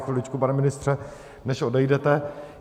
Chviličku, pane ministře, než odejdete.